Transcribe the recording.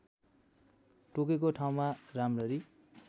टोकेको ठाउँमा राम्ररी